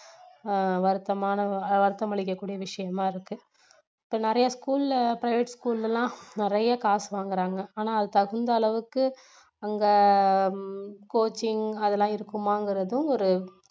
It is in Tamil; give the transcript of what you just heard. ஆஹ் வருத்தமான வருத்தம் அளிக்கக்கூடிய விஷயமா இருக்கு இப்போ நிறைய school ல private school ல எல்லாம் நிறைய காசு வாங்குறாங்க ஆனா அது தகுந்த அளவுக்கு அங்க coaching அதெல்லாம் இருக்குமாங்குறதும் ஒரு